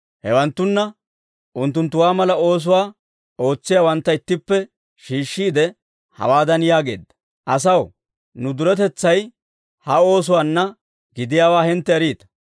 Hewanttanne unttunttuwaa mala oosuwaa ootsiyaawantta ittippe shiishshiide, hawaadan yaageedda; «Asaw, nu duretetsay ha oosuwaanna gidiyaawaa hintte eriita.